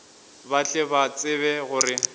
ba tle ba tsebe gore